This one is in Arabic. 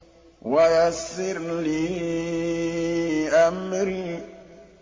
وَيَسِّرْ لِي أَمْرِي